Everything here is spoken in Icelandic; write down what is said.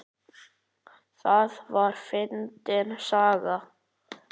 Það var fyndin saga.